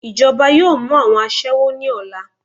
Ijọba yọọ mu awọn aṣẹwo ni ọla.